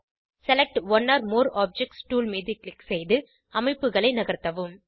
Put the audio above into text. select one or more objects tool மீது click செய்து அமைப்புகளை நகர்த்தவும்